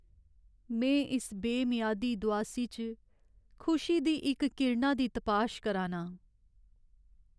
में इस बेमियादी दुआसी च खुशी दी इक किरणा दी तपाश करा नां।